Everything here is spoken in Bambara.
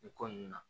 Nin ko nunnu na